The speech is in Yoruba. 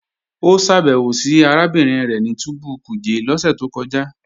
Ó ṣàbẹ̀wò sí arábìnrin rẹ̀ ní túbú Kuje lọ́sẹ̀ tó kọjá